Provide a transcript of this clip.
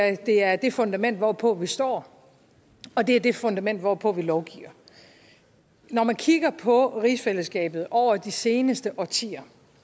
at det er det fundament hvorpå vi står og det er det fundament hvorpå vi lovgiver når man kigger på rigsfællesskabet over de seneste årtier